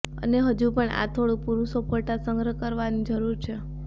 અને હજુ પણ આ થોડું પુરુષો ફોટા સંગ્રહ કરવાની જરૂર છે